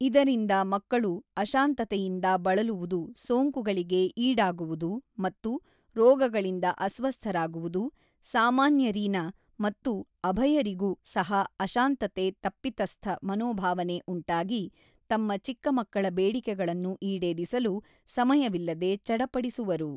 ಇದರಿಂದ ಮಕ್ಕಳು ಅಶಾಂತತೆಯಿಂದ ಬಳಲುವುದು ಸೋಂಕುಗಳಿಗೆ ಈಡಾಗುವುದು ಮತ್ತು ರೋಗಗಳಿಂದ ಅಸ್ವಸ್ಥರಾಗುವುದು ಸಾಮಾನ್ಯರೀನ ಮತ್ತು ಅಭಯರಿಗೂ ಸಹ ಅಶಾಂತತೆ ತಪಿತಸ್ಥ ಮನೋಭಾವನೆ ಉಂಟಾಗಿ ತಮ್ಮ ಚಿಕ್ಕ ಮಕ್ಕಳ ಬೇಡಿಕೆಗಳನ್ನು ಈಡೇರಿಸಲು ಸಮಯವಿಲ್ಲದೆ ಚಡಪಡಿಸುವರು.